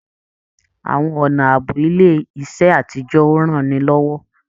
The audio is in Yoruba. Àwọn ọnà ààbò ilé iṣẹ àtijọ o ránilọ́wọ́.